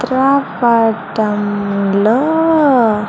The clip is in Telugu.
చిత్రపటం లో.